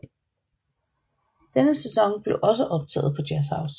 Denne sæson blev også optaget på Jazzhouse